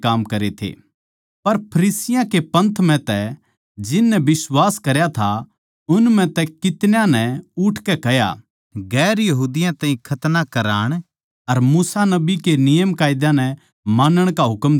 पर फरिसियाँ के पंथ म्ह तै जिन नै बिश्वास करया था उन म्ह तै कितन्याँ नै उठकै कह्या दुसरी जात्तां ताहीं खतना कराण अर मूसा नबी के नियमकायदे नै मानण का हुकम देणा चाहिए